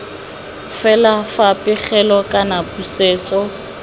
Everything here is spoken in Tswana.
fela fa pegelo kana pusetso